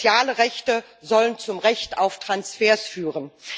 Soziale Rechte sollen zum Recht auf Transfers führen.